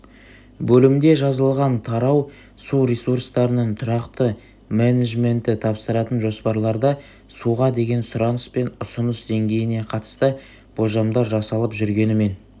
бөлімде жазылған тарау су ресурстарының тұрақты менеджменті тапсыратын жоспарларда суға деген сұраныс пен ұсыныс деңгейіне қатысты болжамлар жасалып жүргенімен